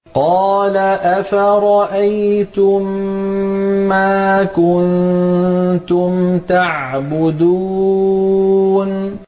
قَالَ أَفَرَأَيْتُم مَّا كُنتُمْ تَعْبُدُونَ